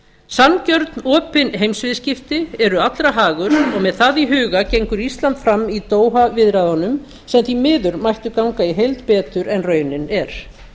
sanngjörn opin heimsviðskipti eru allra hagur og með það í huga gengur ísland fram í doha viðræðunum sem því miður mættu ganga í heild betur en raunin er